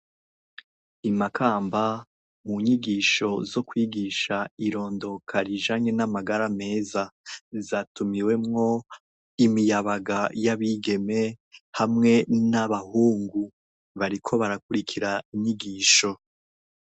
Imakamba munyigisho zo kwigisha irondokq rijanye namagara meza zatumiwemwo imiyabaga yabigeme hamwe nabahungu bariko barakwirikira inyigisho